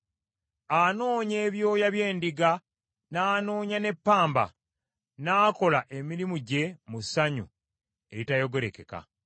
Anoonya ebyoya by’endiga n’anoonya ne ppamba, n’akola emirimu gye mu ssanyu eritayogerekeka.